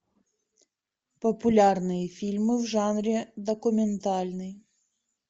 популярные фильмы в жанре документальный